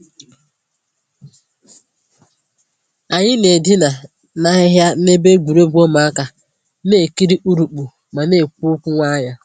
Anyị na-edina na ahịhịa n'ebe egwuregwu ụmụaka, na-ekiri urukpu ma na-ekwu okwu nwayọ.